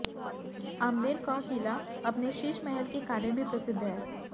आम्बेर का किला अपने शीश महल के कारण भी प्रसिद्ध है